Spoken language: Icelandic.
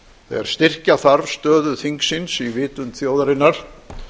þegar styrkja þarf stöðu þingsins í vitund þjóðarinnar